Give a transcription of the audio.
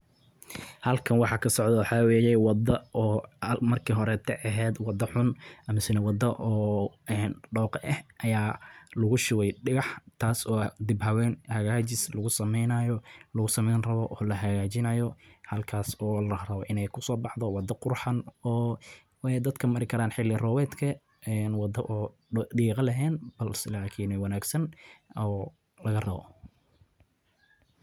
Waddada laami ee laami ah waxay ka mid tahay qaybaha muhiimka ah ee magaalooyinka iyo tuulooyinka, maadaama ay fududeyso isu socodka dadka iyo gaadiidka, sidoo kalena kordhiso nabadgelyada iyo raaxada safarka. Waddooyinka laamiga ah waxaa lagu sameeyaa iyadoo la isticmaalayo qalab tayo sare leh.